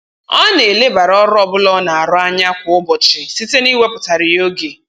Ọ na-elebara ọrụ ọbụla ọ na-arụ anya kwa ụbọchị site na-iwepụtara ya oge